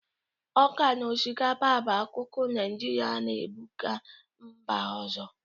Ọka na osikapa bụ akụkụ Naijirịa na-ebụpu mba ọzọ.